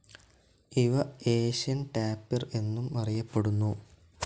ഇവ Asian tapir എന്നും അറിയപ്പെടുന്നു.